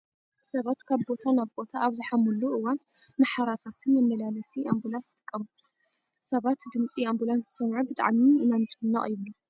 ሰባት ካብ ቦታ ናብ ቦታ ኣብ ዝሓምሉ እዋን፣ ንሓራሳትን መመላለሲ ኣምቡላስ ይጥቀሙ። ሰባት ድምፂ ኣምቡላንስ እንትሰምዑ ብጣዕሚ ኢና ንጭነቅ ይብሉ።